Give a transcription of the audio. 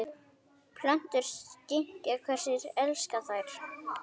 Plöntur skynja hverjir elska þær